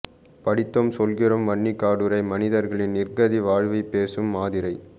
படித்தோம் சொல்கிறோம் வன்னிக்காடுறை மனிதர்களின் நிர்க்கதி வாழ்வைப்பேசும் ஆதிரை